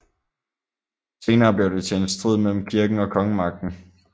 Senere blev det til en strid mellem kirken og kongemagten